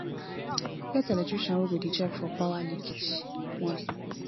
get electrician wey go dey check for power leakage monthly